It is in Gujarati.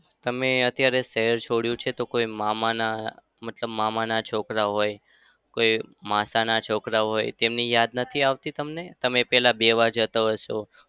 તમે અત્યારે શહેર છોડ્યું છે તો કોઈ મામાના મતલબ મામાના છોકરા હોય, કોઈ માસાના છોકરા હોય. તેમની યાદ નથી આવતી તમને તમે પહેલા બેસવા જતા હશો?